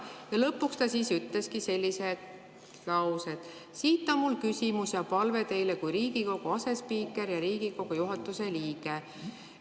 Ja lõpuks ta ütleski sellised laused: "Siit on mul küsimus ja palve teile kui Riigikogu asespiikrile ja Riigikogu juhatuse liikmele.